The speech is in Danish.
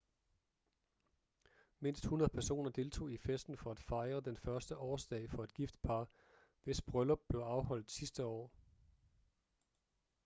mindst 100 personer deltog i festen for at fejre den første årsdag for et gift par hvis bryllup blev afholdt sidste år